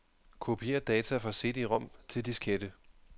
Kopier data fra cd-rom til diskette.